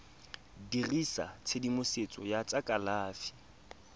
dirisa tshedimosetso ya tsa kalafi